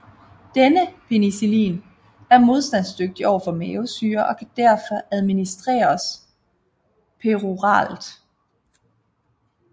Denne penicillin er modstandsdygtig overfor mavesyre og kan derfor administreres peroralt